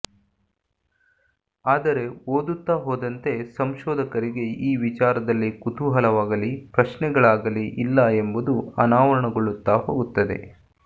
ಆದರೆ ಓದುತ್ತಾ ಹೋದಂತೆ ಸಂಶೋಧಕರಿಗೆ ಈ ವಿಚಾರದಲ್ಲಿ ಕುತೂಹಲವಾಗಲೀ ಪ್ರಶ್ನೆಗಳಾಗಲೀ ಇಲ್ಲ ಎಂಬುದು ಅನಾವರಣಗೊಳ್ಳುತ್ತಾ ಹೋಗುತ್ತದೆ